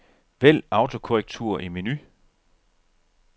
Vælg autokorrektur i menu.